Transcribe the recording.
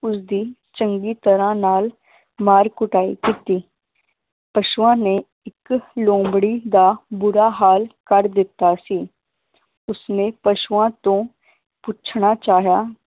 ਉਸਦੀ ਚੰਗੀ ਤਰ੍ਹਾਂ ਨਾਲ ਮਾਰ ਕੁਟਾਈ ਕੀਤੀ, ਪਸ਼ੂਆਂ ਨੇ ਇਕ ਲੋਮੜੀ ਦਾ ਬੁਰਾ ਹਾਲ ਕਰ ਦਿੱਤਾ ਸੀ ਉਸਨੇ ਪਸ਼ੂਆਂ ਤੋਂ ਪੁੱਛਣਾ ਚਾਹਿਆ,